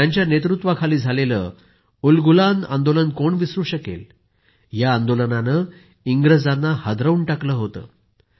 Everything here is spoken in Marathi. त्यांच्या नेतृत्वाखाली झालेलं उलगुलान आंदोलन कोण विसरू शकते या आंदोलनाने इंग्रजांना हलवून टाकलं होतं